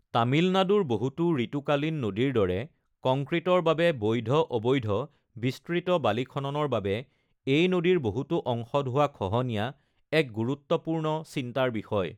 তামিলনাডুৰ বহুতো ঋতুকালীন নদীৰ দৰে, কংক্ৰিটৰ বাবে বৈধ/অবৈধ বিস্তৃত বালি খননৰ বাবে এই নদীৰ বহুতো অংশত হোৱা খহনীয়া এক গুৰুত্বপূৰ্ণ চিন্তাৰ বিষয়।